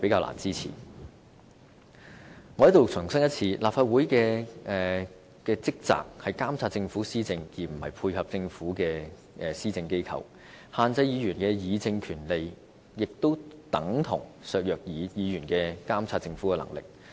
我在此再次重申，立法會的職責是監察政府施政，而不是配合政府的施政，限制議員議政權力等同削弱議員監察政府的能力。